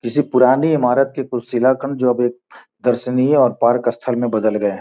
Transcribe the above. किसी पुराने इमारत के कुछ शीलाखंड जो अभी एक दर्शनीय और पार्क स्थल में बदल गए हैं।